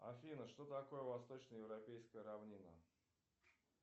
афина что такое восточно европейская равнина